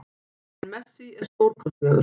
En Messi er stórkostlegur